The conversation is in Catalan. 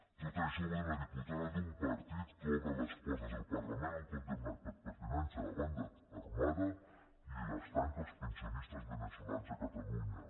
tot això ho va dir una diputada d’un partit que obre les portes del parlament a un condemnat per pertinença a banda armada i les tanca als pensionistes veneçolans a catalunya